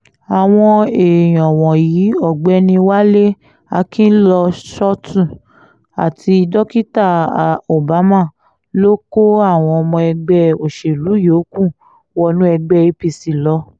àwọn èèyàn wọ̀nyí ọ̀gbẹ́ni wálé akinlọ́ṣọ̀tù àti dókítà obama ló kó àwọn ọmọ ẹgbẹ́ òṣèlú yòókù wọnú ẹgbẹ́ apc lọ